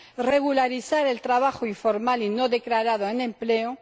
regularizar el trabajo informal y no declarado en Empleo